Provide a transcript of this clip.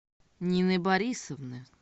нины борисовны